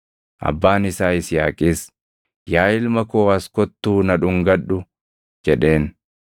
Abbaan isaa Yisihaaqis, “Yaa ilma koo as kottuu na dhungadhu” jedheen.